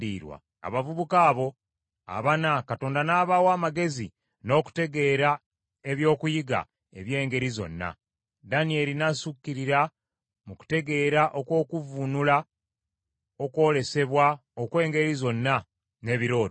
Abavubuka abo abana, Katonda n’abawa amagezi n’okutegeera eby’okuyiga eby’engeri zonna; Danyeri n’asukkirira mu kutegeera okw’okuvvuunula okwolesebwa okw’engeri zonna, n’ebirooto.